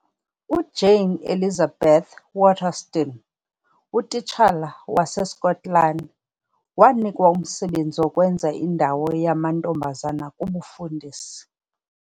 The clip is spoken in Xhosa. UJane Elizabeth Waterston, utitshala waseSkotlani, wanikwa umsebenzi wokwenza indawo yamantombazana kubufundisi.